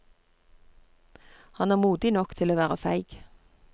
Han er modig nok til å være feig.